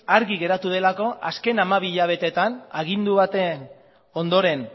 argi geratu delako azken hamabi hilabeteetan agindu baten ondoren